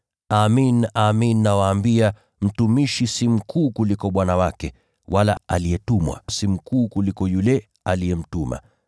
Amin, amin nawaambia, mtumishi si mkuu kuliko bwana wake, wala aliyetumwa si mkuu kuliko yule aliyemtuma.